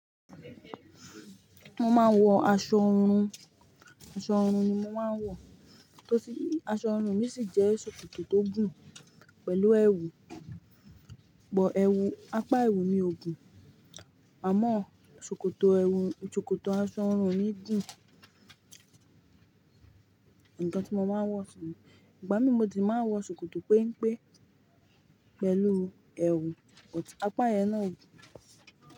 Mo máa ń wọ aṣọ ọrun, aṣọ ọrun ni mo máa ń wọ, tó sì aṣọ ọrun mi sì jẹ́ ṣòkòtò tó gùn pẹ̀lú ẹwù, but ẹwù, apá ẹwù ni ò gùn, àmọ́ ṣòkòtò ẹwù, ṣòkòtò aṣọ ọrun mi gùn. Ǹkan tí mo máa ń wọ̀ sun Ìgbà mìí mo de máa ń wọ ṣòkòtò péńpé pẹ̀lú ẹwù, ọ̀tí apá ẹyẹn náà ò gùn.